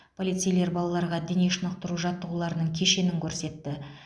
полицейлер балаларға дене шынықтыру жаттығуларының кешенін көрсетті